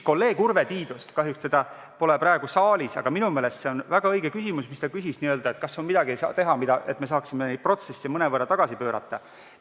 Kolleeg Urve Tiidusel – kahjuks teda pole praegu saalis – oli minu meelest väga õige küsimus, et kas on midagi, mida saaks teha, et me saaksime neid protsesse mõnevõrra tagasi pöörata.